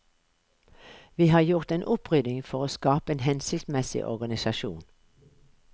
Vi har gjort en opprydding for å skape en hensiktsmessig organisasjon.